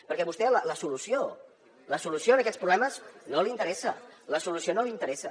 perquè a vostè la solució a aquests problemes no li interessa la solució no li interessa